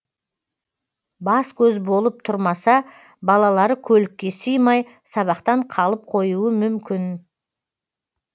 бас көз болып тұрмаса балалары көлікке симай сабақтан қалып қоюы мүмкін